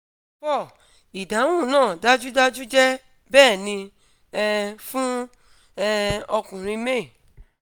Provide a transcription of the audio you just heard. idahun naa dajudaju jẹ - bẹni um fun um ọkunrin may